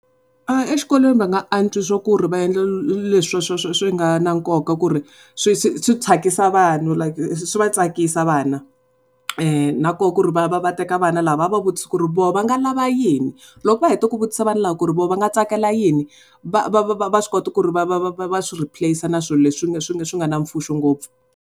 Exikolweni va nga antswisa ku ri va endla leswi nga na nkoka ku ri swi swi swi tsakisa vanhu like swi va tsakisa vana nakoho ku ri va va va teka vana lava va va vutisa ku ri voho va nga lava yini loko va heta ku vutisa vana lava ku ri voho va nga tsakela yini va swi kota ku ri va swi replace-a na swilo leswi nga na mpfuno ngopfu.